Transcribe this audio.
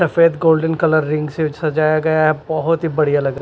सफेद golden colour ring से सजाया गया है बहुत ही बढ़िया लग--